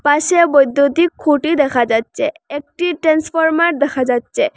পাশে বৈদ্যুতিক খুঁটি দেখা যাচ্চে একটি টেন্সফর্মার দেখা যাচ্চে।